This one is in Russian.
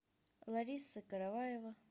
лариса караваева